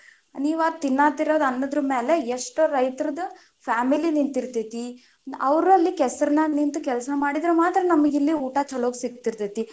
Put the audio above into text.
ನೀವ್ ತಿನ್ನತಿರೋ ಅನ್ನದ ಮೇಲೆ ಎಷ್ಟೋ ರೈತರದ್ದು family ನಿಂತಿರ್ತೇತಿ, ಅವ್ರ ಅಲ್ಲಿ ಕೆಸರನಾಗ ನಿಂತ ಕೆಲಸ ಮಾಡಿದ್ರ ಮಾತ್ರ ನಮಗ ಇಲ್ಲಿ ಊಟಾ ಚೊಲೊ ಸಿಗ್ತಿರ್ತೇತಿ.